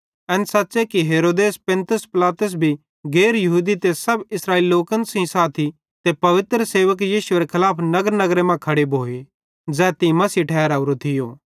एन सच़्च़े कि हेरोदेस पुन्तियुस ते पिलातुस भी गैर यहूदी ते सब इस्राएली लोकन सेइं साथी तेरे पवित्र सेवक यीशुएरे खलाफ नगरनगरे मां खड़े भोए ज़ै तीं मसीह ठहरावरो थियो